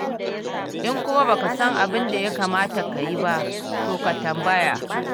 In kuma ba ka san abin da ya kamata ka yi ba, to ka tambaya.